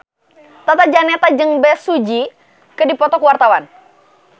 Tata Janeta jeung Bae Su Ji keur dipoto ku wartawan